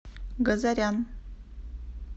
газарян